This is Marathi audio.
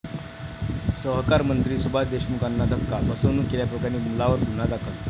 सहकारमंत्री सुभाष देशमुखांना धक्का, फसवणूक केल्याप्रकरणी मुलावर गुन्हा दाखल